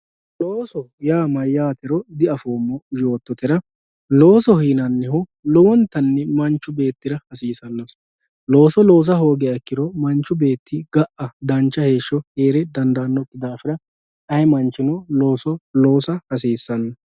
Looso yaa mayatero diafomo yoototera loosoho yinanihu lowontani manchi beetira hasisanoho looso loosa hogiro ga`a dancha heesho heere dandaano dafira ayi manchino looso loosa hasiisano.